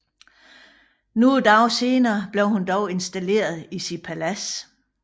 Nogle dage senere blev hun dog installeret i sit palads